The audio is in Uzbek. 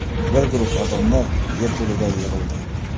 Bir guruh odamlar yerto‘laga yig‘ildi.